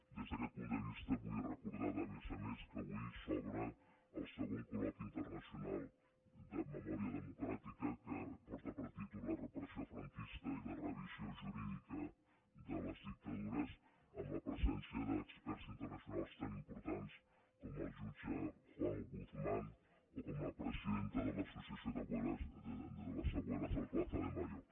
des d’aquest punt de vista vull recordar a més a més que avui s’obre el segon col·loqui internacional de memòria democràtica que porta per títol la repressió franquista i la revisió jurídica de les dictadures amb la presència d’experts internacionals tan importants com el jutge juan guzmán o com la presidenta de l’associació abuelas de plaza de mayo